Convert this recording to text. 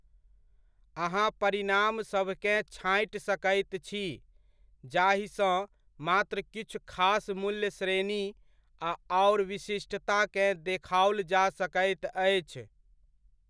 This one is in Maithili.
अहाँ परिणामसभकेँ छाँटि सकैत छी, जाहिसँ मात्र किछु खास मूल्य श्रेणी आ आओर विशिष्टताकेँ देखाओल जा सकैत अछि।